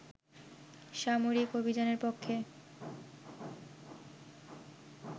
সামরিক অভিযানের পক্ষে